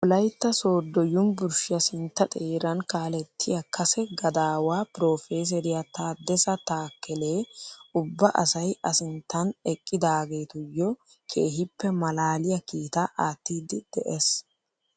Wolaytta sooddo yunburushshiyaa sintta xeeran kalettiyaa kase gadaawaa piroofeseriyaa tadessa taakelee ubba asay a sinttan eqqidaagetuyoo keehippe malaaliyaa kiitaa aattiidi de'ees!